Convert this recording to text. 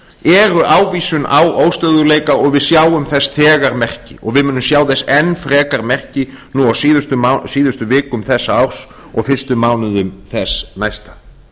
eru ávísun á óstöðugleika og við sjáum þess þegar merki og við munum sjá þess enn frekar merki nú á síðustu vikum þessa árs og fyrstu mánuðum þess næsta